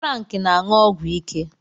Frank na-aṅụ ọgwụ ike